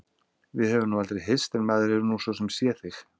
Við höfum nú aldrei hist en maður hefur nú svo sem séð þig.